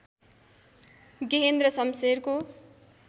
Gehendra शमशेरको